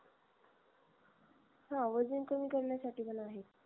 हा वजन कमी कारण्यासाठी पण आहेत